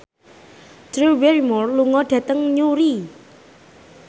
Drew Barrymore lunga dhateng Newry